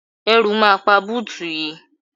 Ẹ̀rù máa pa búùtù yìí.